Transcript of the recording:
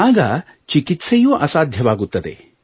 ಆಗ ಚಿಕಿತ್ಸೆಯೂ ಅಸಾಧ್ಯವಾಗುತ್ತದೆ